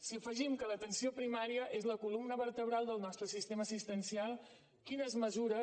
si afegim que l’atenció primària és la columna vertebral del nostre sistema assistencial quines mesures